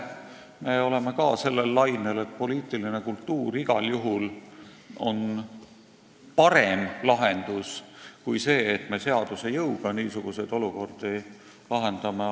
Me oleme ka sellel lainel, et poliitiline kultuur on igal juhul parem lahendus kui see, et me seaduse jõuga niisuguseid olukordi lahendame.